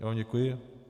Já vám děkuji.